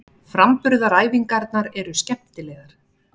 Framburðaræfingarnar eru skemmtilegar.